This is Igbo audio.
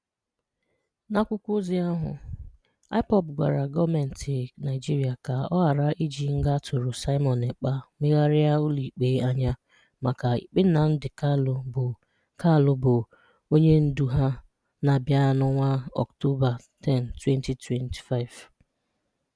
N’àkwụ́kọ́ òzi ahụ, IPOB gwàrà gọọ́mentì Naịjiríà ka ọ̀ ghàrà iji ngà a tụrụ Simon Ekpa megharìà ụlọ́ikpé ànyà maka ìkpé Nnamdi Kanu bụ́ Kanu bụ́ ọnỳèndù ha na-abìà n’ọnwà Ọ́ktòbà 10, 2025.